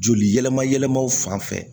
Joli yɛlɛma yɛlɛmaw fan fɛ